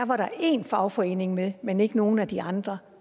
var der én fagforening med men ikke nogen af de andre